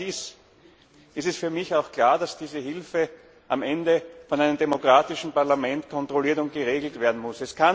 Wenn dem so ist, ist für mich auch klar, dass diese Hilfe am Ende von einem demokratischen Parlament kontrolliert und geregelt werden muss.